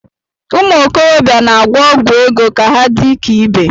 Umuokorobia na-agwọ ọgwụ ego ka ha dị ka ibe